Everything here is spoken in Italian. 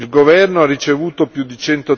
Il governo ha ricevuto più di